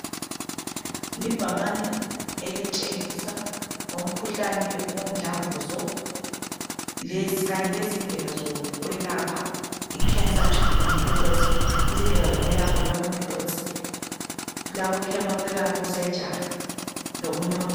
Libhakane elitshengisa ngomkhuhlane womdlavuzo kanye lezindlela zokwelapha icancer treatment methods izindlela zokwelapha yiwo ama methods kulabochemo therapy osurgery lokunye okunengi.